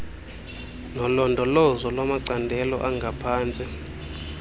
nolondolozo lwamacandelo angaphantsi